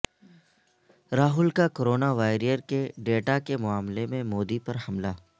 راہل کا کورونا واریئرکے ڈیٹا کے معاملے میں مودی پر حملہ